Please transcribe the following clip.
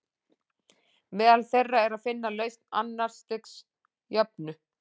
Meðal þeirra er að finna lausn annars stigs jöfnu.